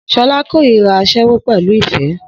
Shola kórìíra aṣẹ́wó pẹ̀lú ìfẹ́